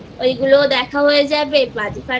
ওগুলো দেখা হয়ে যাবে বাজি ফাটানো